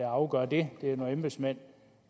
afgør det det er nogle embedsmænd